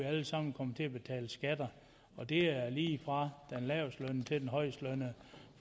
alle sammen kommer til at betale skatter og det er lige fra den lavest lønnede til den højest lønnede